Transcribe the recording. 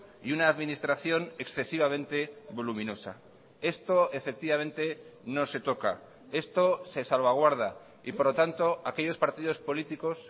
y una administración excesivamente voluminosa esto efectivamente no se toca esto se salvaguarda y por lo tanto aquellos partidos políticos